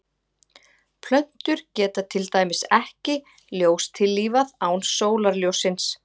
plöntur geta til dæmis ekki ljóstillífað án sólarljóssins